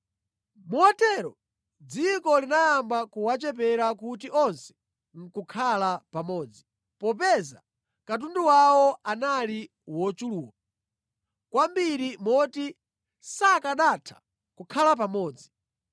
Motero dziko linayamba kuwachepera kuti onse nʼkukhala pamodzi, popeza katundu wawo anali wochuluka kwambiri moti sakanatha kukhala pamodzi.